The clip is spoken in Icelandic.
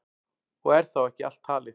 Og er þá ekki allt talið.